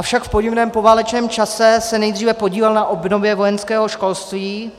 Avšak v podivném poválečném čase se nejdříve podílel na obnově vojenského školství,